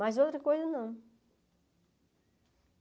Mas outra coisa, não.